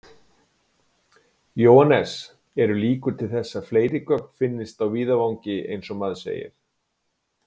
Jóhannes: Eru líkur til þess að fleiri gögn finnist á víðavangi eins og maður segir?